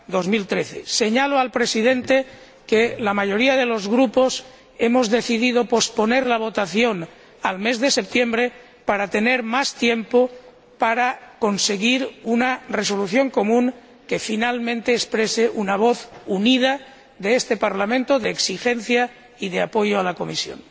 2013. Señalo al Presidente que la mayoría de los grupos hemos decido posponer la votación al mes de septiembre a fin de tener más tiempo para conseguir una resolución común que finalmente exprese una voz unida de este Parlamento, de exigencia y de apoyo a la Comisión.